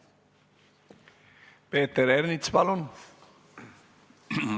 Peeter Ernits, palun!